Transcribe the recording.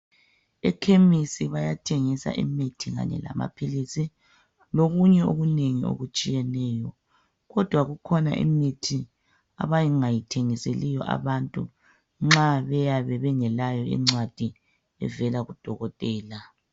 Ekhemisi bayathengisa imithi kanye lamaphilisi. Lokunye okunengi okutshiyeneyo, kodwa kukhona imithi abangayithengiseli abantu nxa bayabe bengalayo incwadi evela kudokotela.